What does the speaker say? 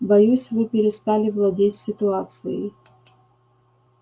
боюсь вы перестали владеть ситуацией